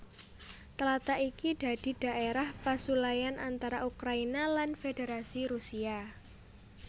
Tlatah iki dadi dhaérah pasulayan antara Ukraina lan Fédérasi Rusia